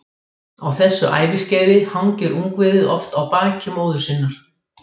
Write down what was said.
Á þessu æviskeiði hangir ungviðið oft á baki móður sinnar.